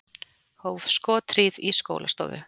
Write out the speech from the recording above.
Hóf skothríð í skólastofu